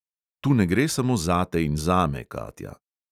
Tu ne gre samo zate in zame, katja.